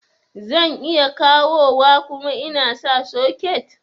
Zan iya kawowa kuma insa socket